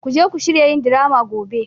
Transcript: Ku je ku shirya yin drama gobe!